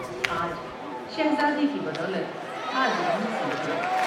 آج شہزادے کی بدولت حاضری نصیب ہوئی ۔